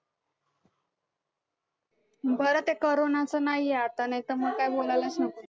बरं ते corona चं नाहीये आता नाहीतर मग काय बोलायलाच नको